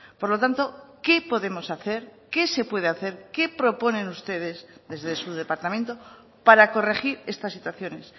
por lo tanto qué podemos hacer qué se puede hacer qué proponen ustedes desde su departamento para corregir estas situaciones